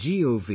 gov